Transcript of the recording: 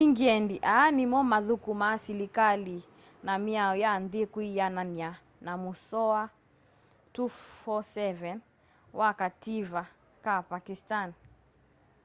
engyendi aa nimo mathukumaa silikali na miao ya nthi kwianana na musoa 247 wa kativa ka pakistani